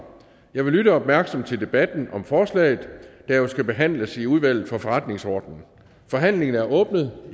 jeg vil lytte opmærksomt til debatten om forslaget der jo skal behandles i udvalget for forretningsordenen forhandlingen er åbnet